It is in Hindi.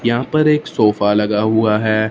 यहां पर एक सोफा लगा हुआ है।